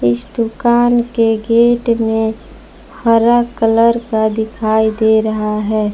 इस दुकान के गेट में हरा कलर का दिखाई दे रहा है।